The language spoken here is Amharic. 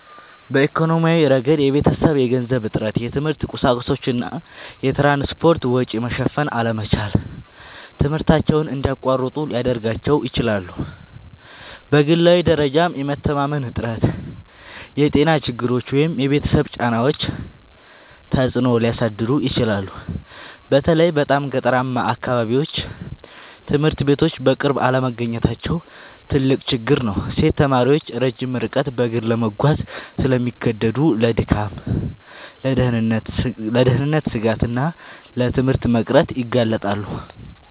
በኢኮኖሚያዊ ረገድ የቤተሰብ የገንዘብ እጥረት፣ የትምህርት ቁሳቁሶች እና የትራንስፖርት ወጪ መሸፈን አለመቻል ትምህርታቸውን እንዲያቋርጡ ሊያደርጋቸው ይችላል። በግላዊ ደረጃም የመተማመን እጥረት፣ የጤና ችግሮች ወይም የቤተሰብ ጫናዎች ተጽዕኖ ሊያሳድሩ ይችላሉ። በተለይ በጣም ገጠራማ አካባቢዎች ትምህርት ቤቶች በቅርብ አለመገኘታቸው ትልቅ ችግር ነው። ሴት ተማሪዎች ረጅም ርቀት በእግር ለመጓዝ ስለሚገደዱ ለድካም፣ ለደህንነት ስጋት እና ለትምህርት መቅረት ይጋለጣሉ